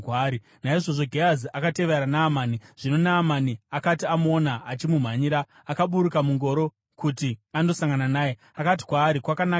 Naizvozvo Gehazi akatevera Naamani. Zvino Naamani akati amuona achimumhanyira, akaburuka mungoro kuti andosangana naye. Akati kwaari, “Kwakanaka here?”